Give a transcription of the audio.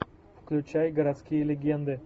включай городские легенды